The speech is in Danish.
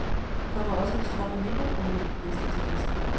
Der kommer også en strøm af mindre prominente gæster til festen.